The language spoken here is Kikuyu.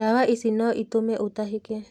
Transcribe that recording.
Ndawa ici no itume otahĩke.